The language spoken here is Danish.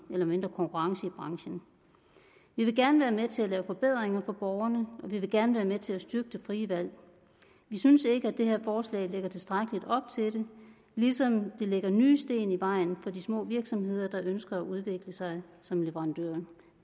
mindre konkurrence i branchen vi vil gerne være med til at lave forbedringer for borgerne og vi vil gerne være med til at styrke det frie valg det synes vi ikke at det her forslag lægger tilstrækkeligt op til ligesom det lægger nye sten i vejen for de små virksomheder der ønsker at udvikle sig som leverandører